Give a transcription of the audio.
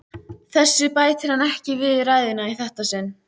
Þessu bætir hann ekki við ræðuna í þetta sinn.